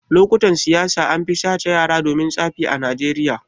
Lokutan siyasa anfi sace yara domin tsafi a najeriya